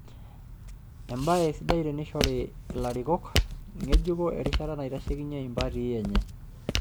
Embaye sidai teneishori larikok ng'ejuko erishata naitashekinyie empati enye.